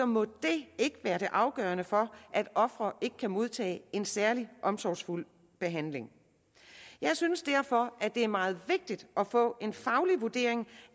må det ikke være det afgørende for at offeret ikke kan modtage en særlig omsorgsfuld behandling jeg synes derfor det er meget vigtigt at få en faglig vurdering